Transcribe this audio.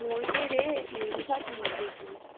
মরবে রে নির্ঘাত মরবে ।